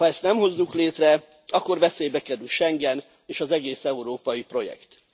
Ha ezt nem hozzuk létre, akkor veszélybe kerül Schengen és az egész európai projekt.